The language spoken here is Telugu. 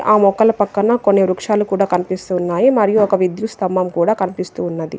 ఆ మొక్కల పక్కన కొన్ని వృక్షాలు కూడా కనిపిస్తున్నాయి మరియు ఒక విద్యుత్ స్తంభం కూడా కనిపిస్తూ ఉన్నది.